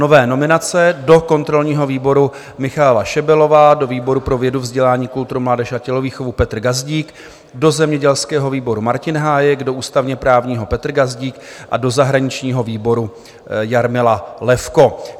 Nové nominace do kontrolního výboru Michaela Šebelová, do výboru pro vědu, vzdělání, kulturu, mládež a tělovýchovu Petr Gazdík, do zemědělského výboru Martin Hájek, do ústavně-právního Petr Gazdík a do zahraničního výboru Jarmila Levko.